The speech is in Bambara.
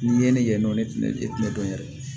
N'i ye ne yen nɔ ne filɛ e tɛ ne dɔn yɛrɛ